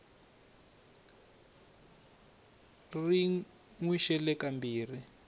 ri n wi xele kambirhi